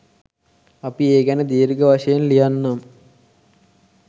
අපි ඒ ගැන දීර්ඝ වශයෙන් ලියන්නම්.